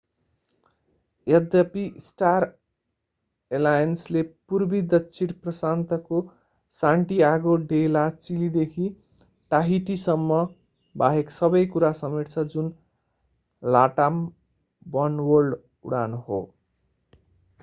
यद्यपि स्टार एलायन्सले पूर्वी दक्षिण प्रशान्तको सान्टियागो डे ला चिलीदेखि टाहिटीसम्म बाहेक सबै कुरा समेट्छ जुन latam वनवर्ल्ड उडान हो